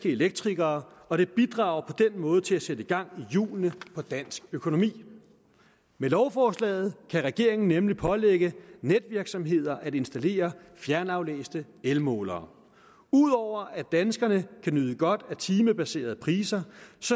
elektrikere og det bidrager på den måde til at sætte gang i hjulene for dansk økonomi med lovforslaget kan regeringen nemlig pålægge netvirksomheder at installere fjernaflæste elmålere ud over at danskerne kan nyde godt af timebaserede priser